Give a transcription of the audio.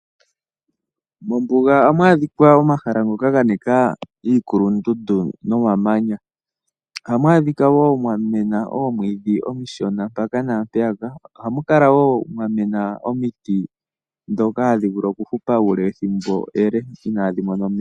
Mombuga ohamu adhika omahala ngoka ganika iikulundundu nomamanya. Ohamu adhika wo mwamena omwiidhi omushona mpaka naampeyaka. Ohamu Kala wo mwamena omiti ndhoka hadhi vulu okuhupa uule wethimbo ele inaadhi mona omeya.